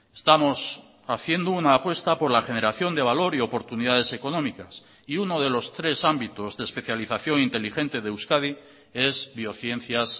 estamos haciendo una apuesta por la generación de valor y oportunidades económicas y uno de los tres ámbitos de especialización inteligente de euskadi es biociencias